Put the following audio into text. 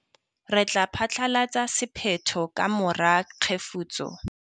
Re tla phatlalatsa sephetho ka mora kgefutso.